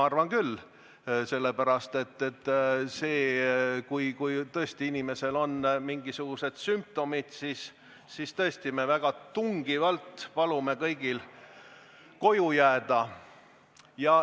Aga kui tõesti inimestel on mingisugused sümptomid, siis me väga tungivalt palume kõigil koju jääda.